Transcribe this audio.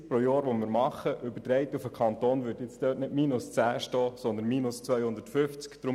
Übertragen auf den Kanton würde in diesem Bereich nicht minus 10 stehen, sondern minus 250.